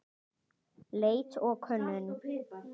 Leit og könnun